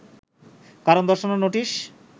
কারণ দর্শানোর নোটিশ